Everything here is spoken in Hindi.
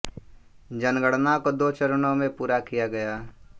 जनगणना को दो चरणों में पूरा किया गया